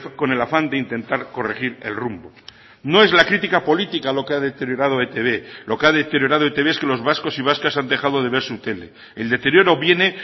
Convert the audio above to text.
con el afán de intentar corregir el rumbo no es la crítica política lo que ha deteriorado etb lo que ha deteriorado etb es que los vascos y vascas han dejado de ver su tele el deterioro viene